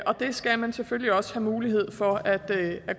og det skal man selvfølgelig også have mulighed for at